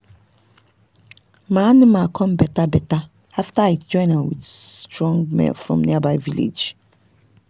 my animal come better better after i join am with strong male from nearby village.